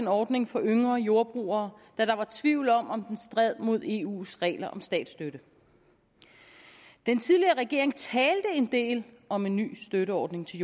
ordningen for yngre jordbrugere da der var tvivl om om den stred mod eus regler om statsstøtte den tidligere regering talte en del om en ny støtteordning til